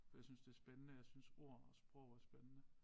For jeg synes det spændende jeg synes ord og sprog er spændende